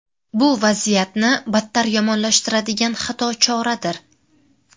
Bu vaziyatni battar yomonlashtiradigan xato choradir.